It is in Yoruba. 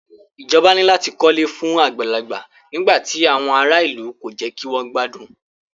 Ìjọba ní láti kọ ilé fún àgbàlagbà nígbà tí àwọn ará ìlú kò jẹ́ kí wọ́n gbádùn.